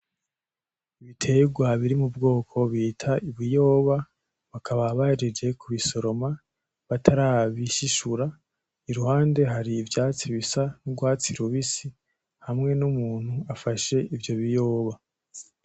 Ibiterwa biri mubwoko bita ibiyoba bakaba bahejeje kubisoroma barabishishura kuruhande hari ivyatsi bisa nurwatsi rubisi hamwe numuntu afashe ivyo biyoba .